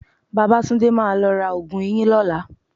Babátúndé máa lọ ra oògùn eyín lọ́la